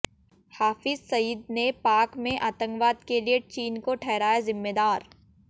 हाफिज सईद ने पाक में आतंकवाद के लिए चीन को ठहराया जिम्मेदार